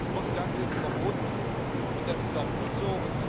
Prophylaxe ist verboten, und das ist auch gut so.